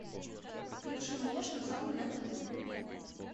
включи мне шансон на тв